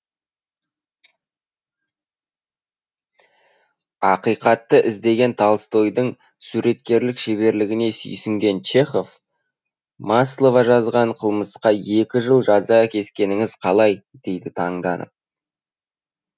ақиқатты іздеген толстойдың суреткерлік шеберлігіне сүйсінген чехов маслова жасаған қылмысқа екі жыл жаза кескеніңіз қалай дейді таңданып